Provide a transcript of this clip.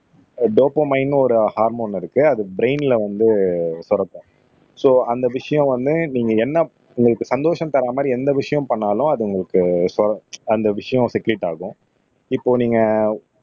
ஆஹ் டோப்போமைன்னு ஒரு ஹார்மோன் இருக்கு அது பிரைன்ல வந்து சுரக்கும் சோ அந்த விஷயம் வந்து நீங்க என்ன உங்களுக்கு சந்தோஷம் தர்ற மாதிரி எந்த விஷயம் பண்ணாலும் அது உங்களுக்கு அந்த விஷயம் செக்ரீட் ஆகும் இப்போ நீங்க